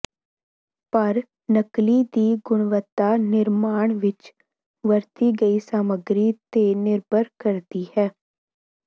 ਪਰ ਨਕਲੀ ਦੀ ਗੁਣਵੱਤਾ ਨਿਰਮਾਣ ਵਿਚ ਵਰਤੀ ਗਈ ਸਾਮੱਗਰੀ ਤੇ ਨਿਰਭਰ ਕਰਦੀ ਹੈ